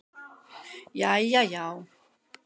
Jæja já.